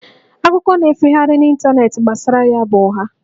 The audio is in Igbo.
Akụkọ na-efegharị n'ịntanetị gbasara ya bụ ụgha